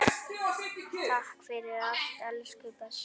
Takk fyrir allt elsku besti.